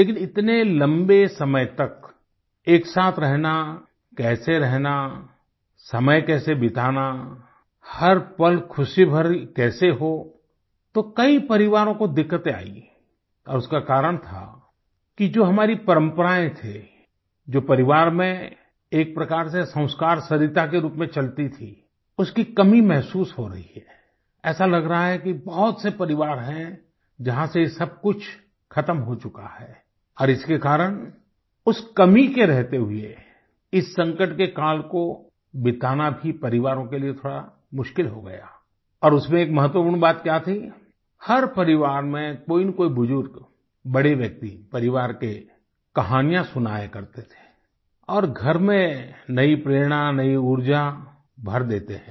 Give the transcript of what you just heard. लेकिन इतने लम्बे समय तक एक साथ रहना कैसे रहना समय कैसे बिताना हर पल खुशी भरी कैसे हो तो कई परिवारों को दिक्कतें आईं और उसका कारण था कि जो हमारी परम्पराएं थी जो परिवार में एक प्रकार से संस्कार सरिता के रूप में चलती थी उसकी कमी महसूस हो रही है ऐसा लग रहा है कि बहुत से परिवार है जहाँ से ये सब कुछ खत्म हो चुका है और इसके कारण उस कमी के रहते हुए इस संकट के काल को बिताना भी परिवारों के लिए थोड़ा मुश्किल हो गया और उसमें एक महत्वपूर्ण बात क्या थी हर परिवार में कोईनकोई बुजुर्ग बड़े व्यक्ति परिवार के कहानियाँ सुनाया करते थे और घर में नई प्रेरणा नई ऊर्जा भर देते हैं